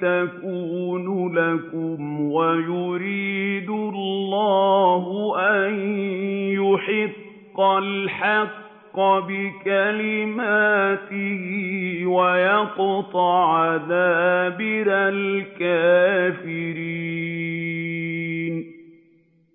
تَكُونُ لَكُمْ وَيُرِيدُ اللَّهُ أَن يُحِقَّ الْحَقَّ بِكَلِمَاتِهِ وَيَقْطَعَ دَابِرَ الْكَافِرِينَ